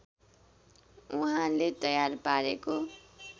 उहाँले तयार पारेको